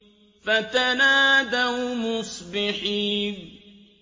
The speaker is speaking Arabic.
فَتَنَادَوْا مُصْبِحِينَ